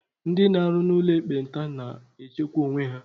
Ndị n'arụ n'ụlọ ekpenta na na-echekwa onwe ha.